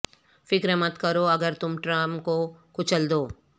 فکر مت کرو اگر تم ٹرم کو کچل دو